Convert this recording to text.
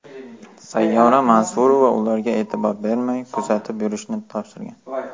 Sayyora Mansurova ularga e’tibor bermay kuzatib yurishini topshirgan.